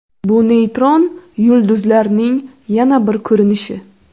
Bu neytron yulduzlarning yana bir ko‘rinishi.